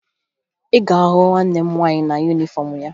Ị ga-ahụ nwanne m nwaanyị na yunifọmụ ya